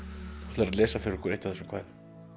ætlar að lesa fyrir okkur eitt af þessum kvæðum